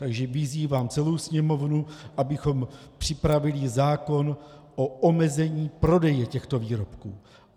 Takže vyzývám celou Sněmovnu, abychom připravili zákon o omezení prodeje těchto výrobků.